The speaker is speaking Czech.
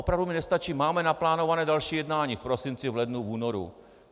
Opravdu mi nestačí: máme naplánované další jednání v prosinci, v lednu, v únoru.